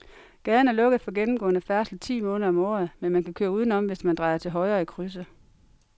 Gaden er lukket for gennemgående færdsel ti måneder om året, men man kan køre udenom, hvis man drejer til højre i krydset.